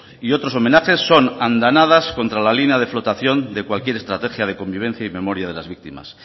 y otros homenajes son andanadas contra la línea de flotación de cualquier estrategia de convivencia y memoria de las víctimas